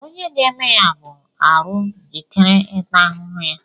Onye ga-eme ya bụ arụ jikere ịta ahụhụ ya